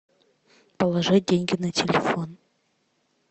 положи деньги на телефон